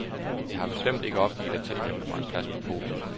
Jeg har bestemt ikke opgivet at tilkæmpe mig en plads på podiet.